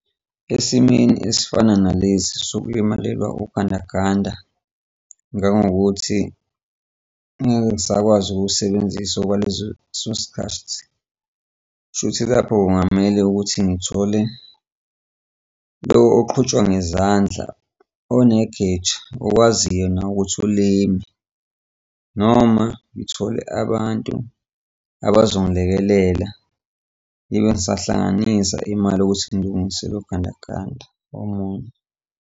Esimweni esifana nalesi sokulimalelwa ugandaganda njengokuthi ngeke ngisakwazi ukuwusebenzisa okwalezo leso sikhathi, okusho ukuthi lapho kungamele ukuthi ngithole lo oqhutshwa ngezandla onegeja okwaziyo nawe ukuthi ulime. Noma ngithole abantu abazongilekelela ngibe ngisahlanganisa imali yokuthi ngilungise lo gandaganda omunye.